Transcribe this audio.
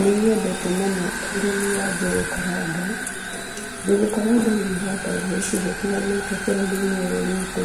Nĩ nyendete mũno ũrĩmi wa njũgũ karanga. Njũgũ karanga nĩ ihandagwo icigo itiganĩte bũrũri-inĩ ũyũ witũ.